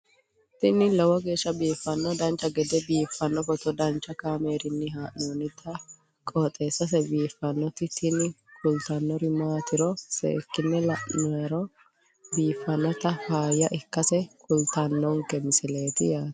tini lowo geeshsha biiffannoti dancha gede biiffanno footo danchu kaameerinni haa'noonniti qooxeessa biiffannoti tini kultannori maatiro seekkine la'niro biiffannota faayya ikkase kultannoke misileeti yaate